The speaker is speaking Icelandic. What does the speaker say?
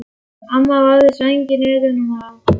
Amma vafði sænginni utan um hana.